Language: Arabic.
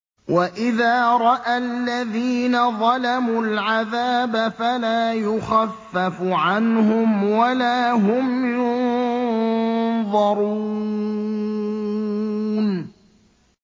وَإِذَا رَأَى الَّذِينَ ظَلَمُوا الْعَذَابَ فَلَا يُخَفَّفُ عَنْهُمْ وَلَا هُمْ يُنظَرُونَ